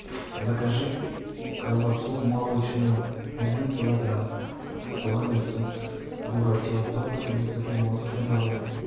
закажи колбасу молочную один килограмм по адресу город севастополь улица приморская два в